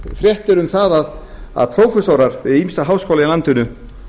fréttir um það að prófessorar við ýmsa háskóla í landinu